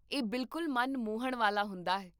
ਇਹ ਬਿਲਕੁਲ ਮਨ ਮੋਹਣ ਵਾਲਾ ਹੁੰਦਾ ਹੈ